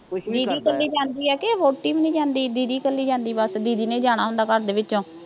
ਦੀਦੀ ਇਕੱਲੀ ਜਾਂਦੀ ਹੈ ਕਿ ਵਹੁਟੀ ਵੀ ਨਹੀਂ ਜਾਂਦੀ, ਦੀਦੀ ਇਕੱਲੀ ਜਾਂਦੀ ਬੱਸ, ਜਿਹਨੇ ਜਾਣਾ ਹੁੰਦਾ ਘਰ ਦੇ ਵਿੱਚੋਂ